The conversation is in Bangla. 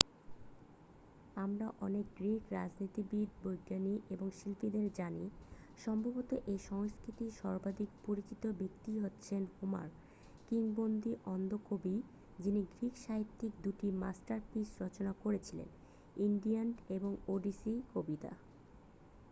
আমরা অনেক গ্রীক রাজনীতিবিদ বিজ্ঞানী এবং শিল্পীদের জানি সম্ভবত এই সংস্কৃতির সর্বাধিক পরিচিত ব্যক্তি হচ্ছেন হোমার কিংবদন্তি অন্ধ কবি যিনি গ্রীক সাহিত্যের 2 টি মাস্টারপিস রচনা করেছিলেন ইলিয়াড এবং ওডিসি কবিতা